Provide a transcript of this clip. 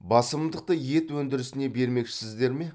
басымдықты ет өндірісіне бермекшісіздер ме